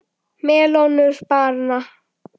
Melónur bara!